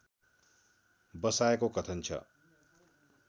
बसाएको कथन छ